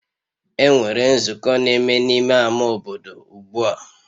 Enwere nzukọ na-eme n'ime ama obodo ugbua